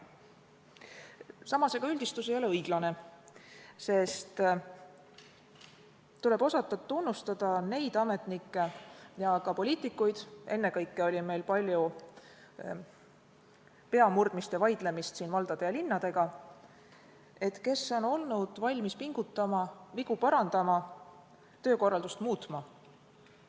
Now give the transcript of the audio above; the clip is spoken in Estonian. Samas, ega üldistus ei ole õiglane, sest tuleb tunnustada neid ametnikke ja ka poliitikuid – ennekõike oli meil siin palju peamurdmist ja vaidlemist valdade ja linnadega –, kes on olnud valmis pingutama, vigu parandama, töökorraldust muutma.